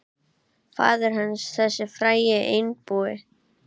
Faðir hans, þessi frægi einbúi.